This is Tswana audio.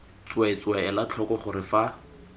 tsweetswee ela tlhoko gore fa